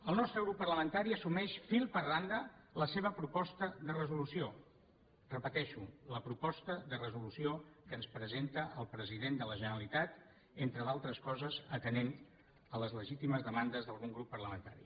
el nostre grup parlamentari assumeix fil per randa la seva proposta de resolució ho repeteixo la proposta de resolució que ens presenta el president de la generalitat entre d’altres coses atenent a les legítimes demandes d’algun grup parlamentari